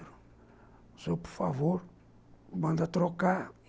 O senhor, por favor, manda trocar.